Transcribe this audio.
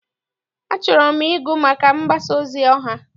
Achọrọ m ịgụ maka mgbasa ozi ọha.